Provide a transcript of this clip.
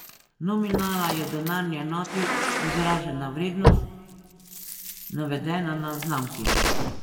Nominala je v denarni enoti izražena vrednost, navedena na znamki.